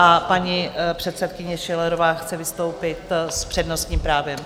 A paní předsedkyně Schillerová chce vystoupit s přednostním právem.